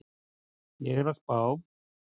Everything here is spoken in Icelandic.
Ég er að spá.